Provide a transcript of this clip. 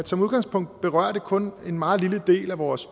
som udgangspunkt berører det kun en meget lille del af vores